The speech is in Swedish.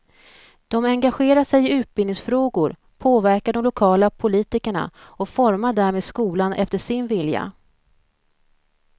De engagerar sig i utbildningsfrågor, påverkar de lokala politikerna och formar därmed skolan efter sin vilja.